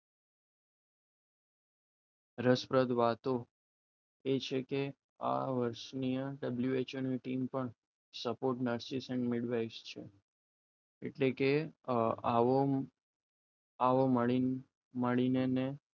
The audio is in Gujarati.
રસપ્રદ વાતો એ છે કે આ વર્ષની WHO ની ટીમ પણ support nurses અને advice છે એટલે કે આવો આવો મળી મળીને